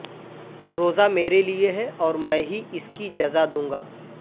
روزہ میرے لیے ہے اور میں ہی اس کی جزا دوں گا